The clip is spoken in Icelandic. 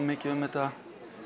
mikið um þetta